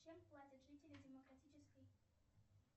чем платят жители демократической